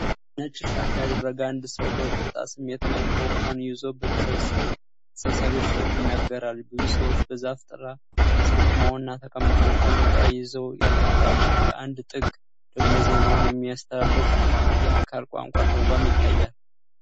ነጭ ሻሽ ያደረገ አንድ ሰው በቁጣ ስሜት ማይክሮፎን ይዞ በተሰብሳቢዎች ፊት ይናገራል። ብዙ ሰዎች በዛፍ ጥላ ስር ቆመውና ተቀምጠው ጃንጥላ ይዘው ያዳምጣሉ፤ በአንድ ጥግ ደግሞ ዜናውን የሚያስተላልፍ የአካል ቋንቋ ተርጓሚ ይታያል።